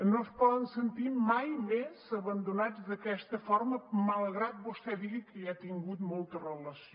no es poden sentir mai més abandonats d’aquesta forma malgrat que vostè digui que hi ha tingut molta relació